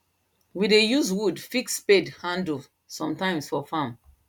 we dey use wood fix spade handle sometimes for farm